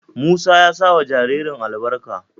Musa ya sa wa jaririn albarka.